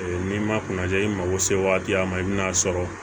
N'i ma kuna ja i mago se waati ma i bin'a sɔrɔ